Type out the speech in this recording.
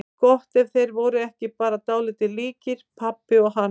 Gott ef þeir voru ekki bara dálítið líkir, pabbi og hann.